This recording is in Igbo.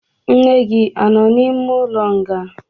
Nne gi anọ n'ime ụlọ nga?